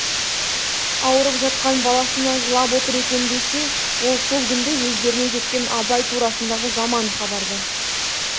ауырып жатқан баласына жылап отыр екен десе ол сол күнде өздеріне жеткен абай турасындағы жаман хабарды